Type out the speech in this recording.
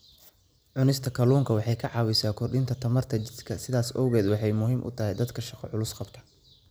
Cunista kalluunku waxa ay caawisaa korodhka tamarta jidhka, sidaas awgeed waxa ay muhiim u tahay dadka shaqo culus qabta.